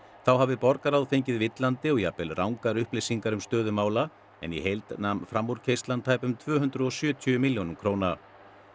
þá hafi borgarráð fengið villandi og jafnvel rangar upplýsingar um stöðu mála en í heild nam framúrkeyrslan tæpum tvö hundruð og sjötíu milljónum króna